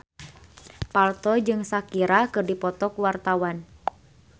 Parto jeung Shakira keur dipoto ku wartawan